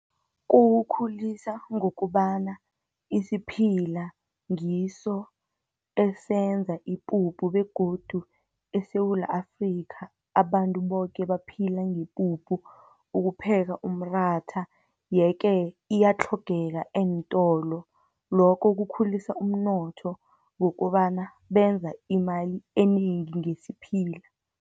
Kukhulisa ngokobana isiphila ngiso esenza ipuphu, begodu eSewula Afrika, abantu boke baphila ngepuphu, ukupheka umratha, yeke iyatlhogeka eentolo. Lokho kukhulisa umnotho, ngokobana benza imali enengi ngesiphila.